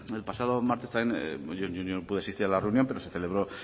el pasado martes yo no pude asistir a la reunión pero se celebró